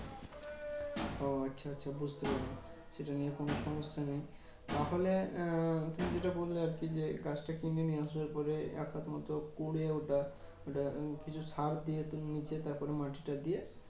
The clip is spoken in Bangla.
ও আচ্ছা আচ্ছা বুঝতে পেরেছি। এটা নিয়ে কোনো সমস্যা নেই। তাহলে আহ তুমি যেটা বললে আরকি যে, গাছটা কিনে নিয়ে আসার পরে এক হাত মতো খুঁড়ে, ওটা ওটা কিছু সার দিয়ে তার নিচে তারপরে মাটিটা দিয়ে